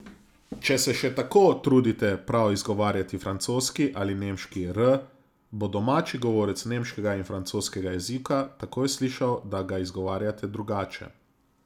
Če se še tako trudite prav izgovarjati francoski ali nemški r, bo domači govorec nemškega in francoskega jezika takoj slišal, da ga izgovarjate drugače.